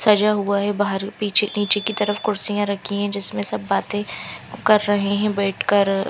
सझा हुआ है बहर पीछे निचे की तरफ कुर्सिया रखी है जिसमे सब बाते क्र रहे है बेठ कर--